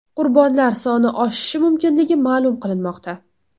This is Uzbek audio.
Qurbonlar soni oshishi mumkinligi ma’lum qilinmoqda.